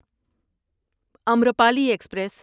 Amrapali express